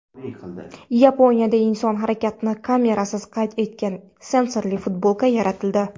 Yaponiyada inson harakatini kamerasiz qayd etadigan sensorli futbolka yaratildi.